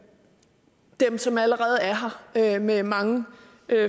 dem som allerede er her med mange